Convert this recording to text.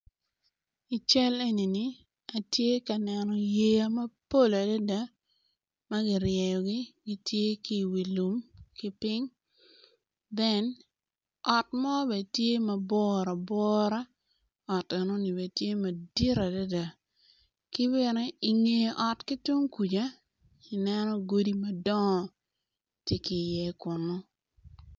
I cal enini atye ka neno yea mapol adada magi ryeyogi kitye ki lum kiping ot mo bene tye maborabora ot enoni bene tye madit adada kibene i nge ot kitung kuca ineno godi madongo tye ki i ye kunu.